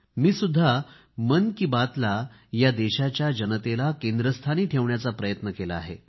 मी सुद्धा मन की बात ला या देशाच्या जनतेला केंद्रस्थानी ठेवण्याचा प्रयत्न केला आहे